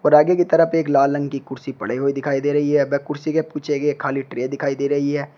और आगे की तरफ एक लाल रंग की कुर्सी पड़े हुए दिखाई दे रही है व कुर्सी के ये खाली ट्रे दिखाई दे रही है।